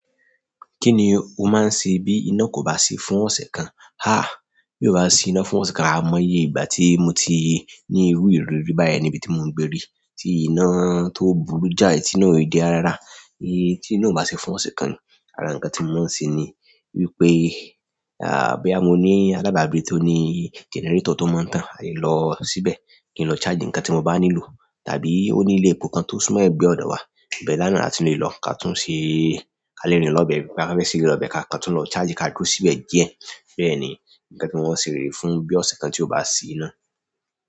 Kí ni o máa ń ṣe bí iná kò bá sí fún ọ̀sẹ̀ kan? Haaa, bi o ba si ina fún ọsẹ kan aimoye igbati mo ti ni iru ìrírí báyìí ni ibi ti mo n gbe ri ti ina to burú ja yi, ti ina ko de rara. Iye tí iná ò bá sí fún ọ̀sẹ̀ kan ni, àrá nǹkan tí mo máa ń ṣe ni wípé, ha boya mo ní alábàágbé tó ní gẹnẹrétọ̀ tó mọ́ tán, a lè lọ síbẹ̀ kí n lọ charge nǹkan tí mo bá nílò, tàbí ó ní ilé epo kan tó súmọ́ ẹ̀gbẹ́ ọ̀dọ̀ wa, ibi náà a tun lè lọ ká túń ṣe, a lè rìn lọ́bẹ̀, bá fẹ́ ṣeré lọ́bẹ̀ ká kọ tún lọ charge ká dúró síbẹ̀ díẹ̀. Bẹ́ẹ̀ ni nǹkan tí mo máa ṣe re fún bí ọ̀sẹ̀ kan tí ò bá sí iná.